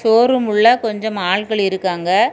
Showroom உள்ள கொஞ்சம் ஆட்கள் இருக்காங்க.